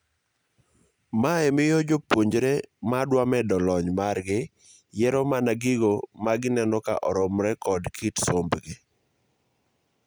Mae miyo jopuonjre madwa medo lony margi yiero mana gigo magineno ka oromre kod kit sombgi.